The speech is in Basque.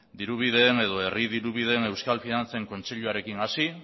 diru bidean edo herri diru bidean euskal finantzen kontseiluarekin hasi